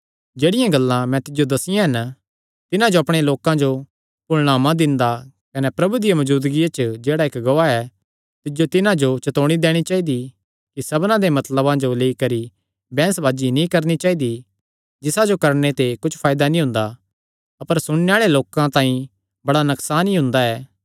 जेह्ड़ियां गल्लां मैं तिज्जो दस्सियां हन तिन्हां जो अपणे लोकां जो भुलणा मत दिंदा कने प्रभु दी मौजूदगिया च जेह्ड़ा इक्क गवाह ऐ तिज्जो तिन्हां जो चतौणी दैणी चाइदी कि सब्दां दे मतलबां जो लेई करी बैंह्सबाजी नीं करणी चाइदी जिसा जो करणे ते कुच्छ फायदा नीं हुंदा अपर सुणने आल़े लोकां तांई बड़ा बड्डा नकसान ई हुंदा ऐ